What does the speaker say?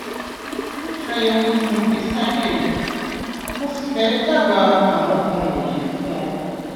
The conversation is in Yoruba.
mo ṣàyẹwò ìtàn ìgbésí ayé rẹ mo sì fẹ dábàá àwọn nǹkan wọnyí fún ọ